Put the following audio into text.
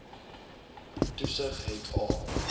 toesig het a